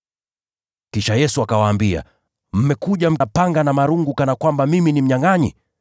Kisha Yesu akawaambia, “Mmekuja na panga na marungu kunikamata kana kwamba mimi ni mnyangʼanyi?